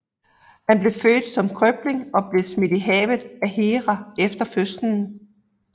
Han blev født som krøbling og blev smidt i havet af Hera efter fødslen